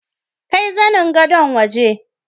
Kai zanin Gadon waje.